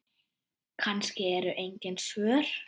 Kannski eru engin svör.